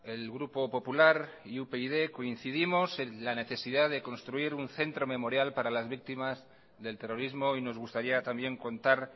el grupo popular y upyd coincidimos en la necesidad de construir un centro memorial para las víctimas del terrorismo y nos gustaría también contar